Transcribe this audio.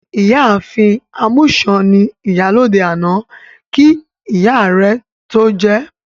Ìyá ààfin Amusan ni Ìyálóde àná kí ìyá rẹ tó jẹ